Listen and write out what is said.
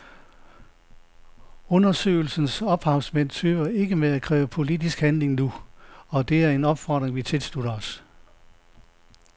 Undersøgelsens ophavsmænd tøver ikke med at kræve politisk handling nu, og det er en opfordring vi tilslutter os.